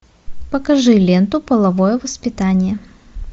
покажи ленту половое воспитание